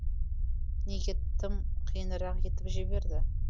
неге тым қиынырақ етіп жіберді